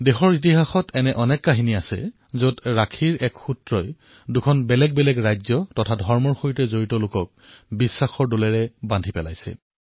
দেশৰ ইতিহাসত এনে বহু কাহিনী আছে যত ৰক্ষা বন্ধনে দুখন ভিন্ন ৰাজ্য অথবা ধৰ্মৰ সৈতে জড়িত ব্যক্তিৰ বিশ্বাসক সূতাৰে বান্ধিবলৈ সমৰ্থ হৈছে